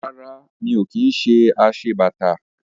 Rárá. Mi ò kí ṣe aṣebàtà